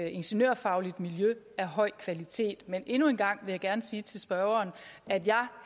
ingeniørfagligt miljø af høj kvalitet men endnu en gang sige til spørgeren at jeg